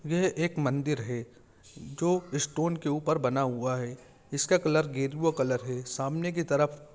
यह एक मंदिर हैं जो स्टोन के ऊपर बना हुआ हैं इसका कलर गेरुआ कलर हैं सामने की तरफ--